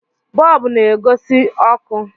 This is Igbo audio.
bọọbụ na-agosi ọkụ